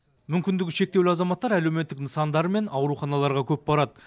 мүмкіндігі шектеулі азаматтар әлеуметтік нысандар мен ауруханаларға көп барады